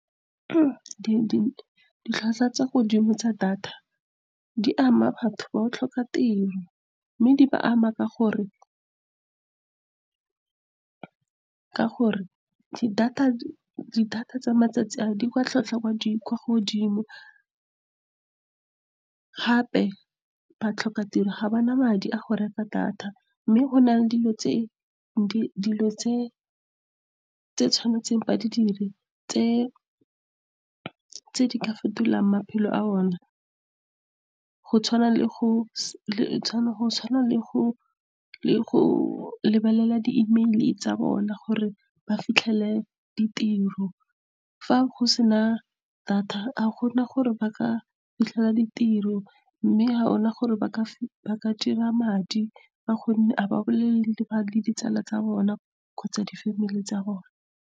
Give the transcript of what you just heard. ditlhwatlhwa tsa godimo tsa data di ama batho ba go tlhoka tiro, mme di ba ama ka gore di-data tsa matsatsi a ditlhwatlhwa di kwa godimo. Gape ba tlhoka tiro, ga bana madi a go reka data, mme go na le dilo tse ba tshwanetseng gore ba di dire , tse di ka fetolang maphelo a bona , go tshwana le go lebelela di-email tsa bona gore ba fitlhelele ditiro. Fa go sena data, ga gona gore ba ka fitlhelela ditiro, mme ga gona gore ba ka dira madi. Ka gonne ga ba bolele le ditsala tsa bona kgotsa di-family tsa bona.